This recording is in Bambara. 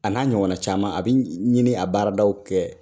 A n'a ɲɔgɔn caman a bi ɲini a baaradaw kɛ